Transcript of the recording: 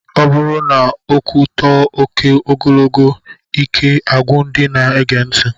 Ọ bụrụ na okwu too oké ogogolo, ike agwụ ndị na-ege ntị.